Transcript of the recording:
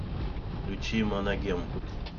включи моногем